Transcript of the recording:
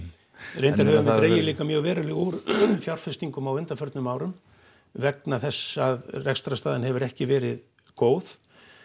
reyndar höfum við dregið mjög verulega úr fjárfestingum á undanförnum árum vegna þess að rekstrarstaðan hefur ekki verið góð